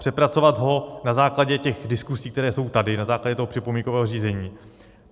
Přepracovat ho na základě těch diskusí, které jsou tady, na základě toho připomínkového řízení.